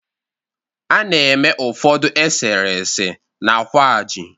A na-eme ụfọdụ eserese na kwaaji